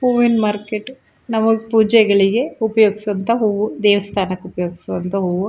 ಹೂವಿನ ಮಾರ್ಕೆಟು ನ್ ನಮಗೆ ಪೂಜೆಗಳಿಗೆ ಉಪಯೋಗಿಸುವಂತ ಹೂವು ದೇವಸ್ಥಾನಕ್ಕೆ ಉಪಯೋಗಿಸುವಂತ ಹೂವು.